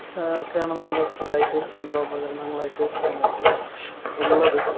ആഹ് ഒക്കെയാണ് നമ്മൾ സ്ഥിരായിട്ട് യന്ത്രോപകരണങ്ങളായിട്ട് നമ്മുക്ക് ഉള്ളത്